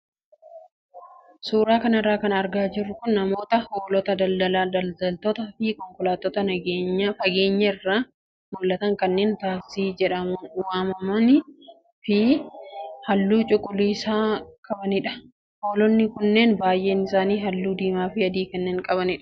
Suuraa kanarraa kan argaa jirru kun namoota hoolata daldala daldaltootaa fi konkolaattota fageenya irraa mul'atan kanneen taaksii jedhamuun waamamanii fi halluu cuquliisa qabanidha. Hoolonni kunneen baay'een isaanii halluu diimaa fi adii kanneen qabanidha.